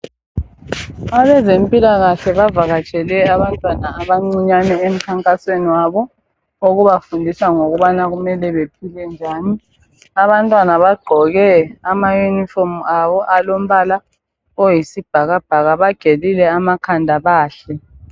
Abezempila kahle bavakatshele abantwana abancane emkhankasweni wabo owokubafundisa ukuba kumele baphile njani, abantwana bagqoko ama unifomu alombala oyisibhakabhaka bagelile amakhanda bahle.